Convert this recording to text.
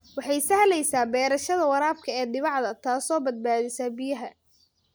Waxay sahlaysa beerashada waraabka ee dhibicda, taasoo badbaadisa biyaha.